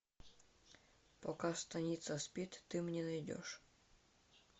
пока станица спит ты мне найдешь